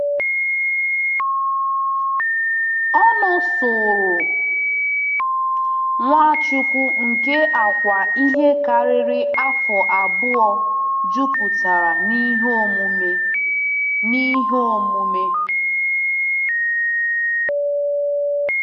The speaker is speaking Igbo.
Ọ nọ soro Nwachukwu nke Awka ihe karịrị afọ abụọ jupụtara n’ihe omume. n’ihe omume.